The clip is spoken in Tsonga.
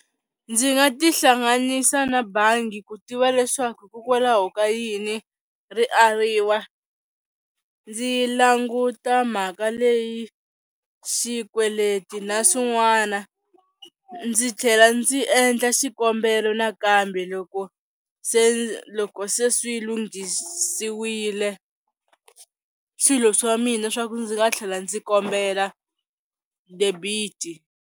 Ndzi nga ti hlanganisa na bangi ku tiva leswaku hikokwalaho ka yini ri ariwa ndzi languta mhaka leyi xikweleti na swin'wana ndzi tlhela ndzi endla xikombelo nakambe loko se loko se swi lunghisiwile swilo swa mina swa ku ndzi nga tlhela ndzi kombela debiti.